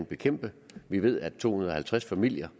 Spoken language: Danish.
bekæmpe det vi ved at to hundrede og halvtreds familier